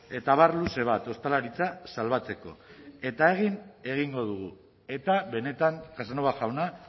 eta abar luze bat ostalaritza salbatzeko eta egin egingo dugu eta benetan casanova jauna